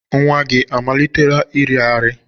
Nwa gị amalitela iri arị?